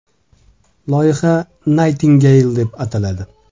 Loyiha Nightingale deb ataladi.